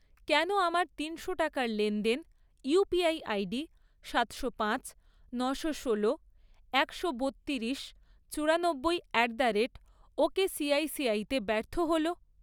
কেন আমার তিনশো টাকার লেনদেন ইউপিআই আইডি সাতশো পাঁচ, নশো ষোলো, একশো বত্তিরিশ, চুরানব্বই অ্যাট দ্য রেট ওকেসিআইসিআইতে ব্যর্থ হল?